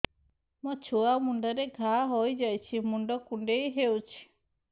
ମୋ ଛୁଆ ମୁଣ୍ଡରେ ଘାଆ ହୋଇଯାଇଛି ମୁଣ୍ଡ କୁଣ୍ଡେଇ ହେଉଛି